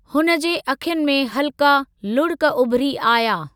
हुन जे अखियुनि में हल्का लुड़िक उभिरी आया।